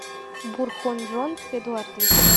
бурхунжон эдуардович